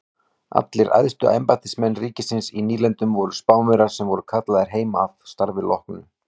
Allir æðstu embættismenn ríkisins í nýlendunum voru Spánverjar sem voru kallaðir heim að starfi loknu.